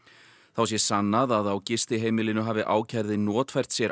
þá sé sannað að á gistiheimilinu hafi ákærði notfært sér